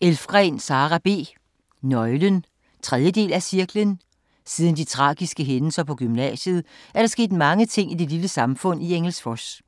Elfgren, Sara B.: Nøglen 3. del af Cirklen. Siden de tragiske hændelser på gymnasiet er der sket mange ting i det lille samfund i Engelsfors.